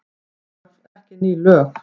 Það þarf ekki ný lög.